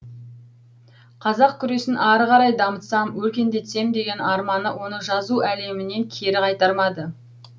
қазақ күресін ары қарай дамытсам өркендетсем деген арманы оны жазу әлемінен кері қайтармады